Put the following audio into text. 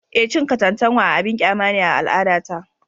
Eh, cin katantanwa abin kyama ne a al’adata